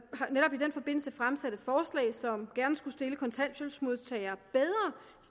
i den forbindelse fremsat et forslag som gerne skulle stille kontanthjælpsmodtagere bedre